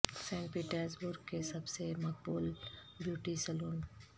Saint Petersburg کے سب سے مقبول بیوٹی سیلون